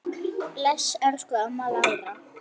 Bless, elsku amma Lára.